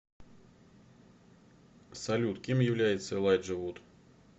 салют кем является элайджа вуд